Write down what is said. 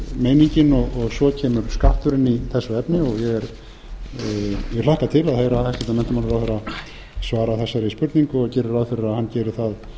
meiningin og svo kemur skatturinn í þessu efni og ég hlakka til að heyra hæstvirtur menntamálaráðherra svara þessari spurrningu og geri ráð fyrir að hann geri það